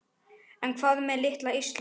En hvað með litla Ísland?